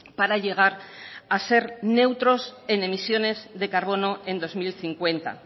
para llegar a ser neutros en emisiones de carbono en dos mil cincuenta